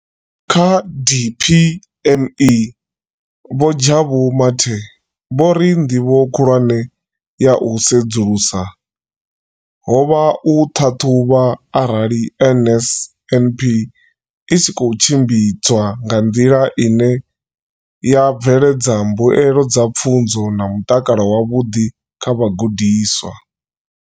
Kha DPME, vho Jabu Mathe, vho ri ndivho khulwane ya u sedzulusa ho vha u ṱhaṱhuvha arali NSNP i tshi khou tshimbidzwa nga nḓila ine ya bveledza mbuelo dza pfunzo na mutakalo wavhuḓi kha vhagudiswa.